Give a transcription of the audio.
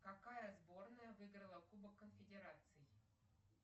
какая сборная выиграла кубок конфедераций